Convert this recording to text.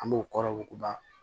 An b'o kɔrɔ wuguba